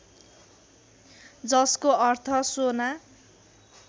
जसको अर्थ शोना